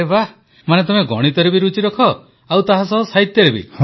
ଆରେ ବାଃ ମାନେ ତମେ ଗଣିତରେ ବି ରୁଚି ରଖ ଆଉ ସାହିତ୍ୟରେ ବି